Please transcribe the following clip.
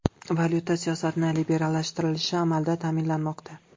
Valyuta siyosatining liberallashtirilishi amalda ta’minlanmoqda.